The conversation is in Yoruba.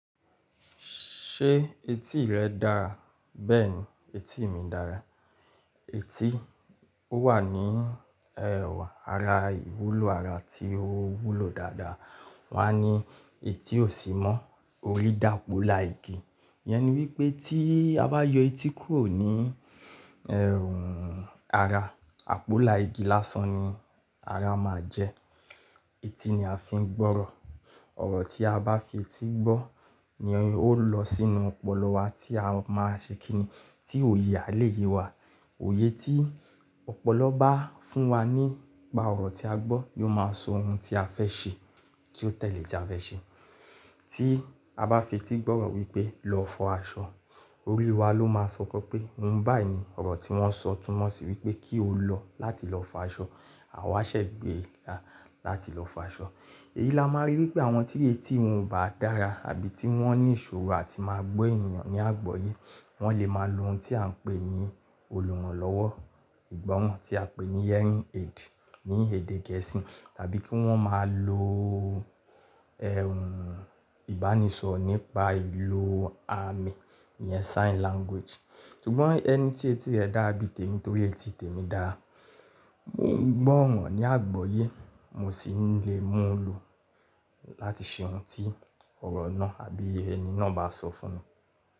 Ṣé etí rẹ dáa? Bẹ́ẹ̀ni, etí mi dára. Etí ọwa ni ẹh ara ìwúlò ara tí ó wúlò dáadáa. Wọ́n á ní etí ò sí mọ́, orí dàpọ̀ la igi. Ìyẹn ni wípé tí a bá yọ etí kúrò ní ẹrùn ara, àpọ̀là igi lásán ni ara máa jẹ́. Etí ni a fi ń gbọ́rọ̀. Ọ̀rọ̀ tí aba fi etí gbọ́ ni ó lọ sínú ọpọlọ wa tí a máa ṣekíni tí òye è àlè yé wa. Òye tí ọpọlọ bá fún wa nípa ọ̀rọ̀ tí a gbọ́ yóò máa so ohun tí a fẹ́ ṣe kí ó tẹ̀lé tí a fẹ́ ṣe. Tí a bá fi etí gbọ́rọ̀ wípé "lọ fọ aṣọ", orí wa ló máa sọkọ pé "òun bàí ni ọ̀rọ̀ tí wọ́n sọ", túnmọ̀ sí wípé kí o lọ láti lọ fọ aṣọ. A wá ṣẹ̀gbé láti lọ fọ aṣọ. Èyí la máa rí wípé àwọn tí etí wọn ò bá dára àbí tí wọ́n ní ìṣòro àti máa gbọ́ ènìyàn ní àgbọ́yé, wọ́n lè máa lo ohun tí à ń pè ní olùrànlọ́wọ́ ìgbọràn tí a ń pè ní hearing aid ní èdè gẹ̀ẹ́sì tàbí kí wọ́n máa lo ẹhún ìbánisọ̀rọ̀ nípa ìlò àmì yẹn sign language. Ṣùgbọ́n ẹni tí etí rẹ dára bí i tèmi torí etí tèmi dára, mo ń gbọ́ ọ̀ràn ní àgbọ́yé, mo sì ń lè mú un lò láti ṣe ohun tí ọ̀rọ̀ náà àbí ẹni náà bá sọ fún mi.